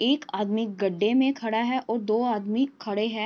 एक आदमी गड्डे में खड़ा है और दो आदमी खड़े हैं।